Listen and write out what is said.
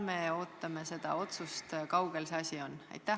Me ootame seda otsust, kui kaugel see asi on?